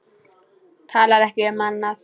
Talar ekki um annað.